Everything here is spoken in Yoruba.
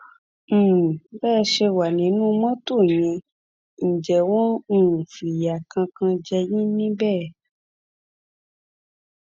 um bẹ ẹ ṣe wà nínú mọtò yẹn ǹjẹ wọn um fìyà kankan jẹ yín níbẹ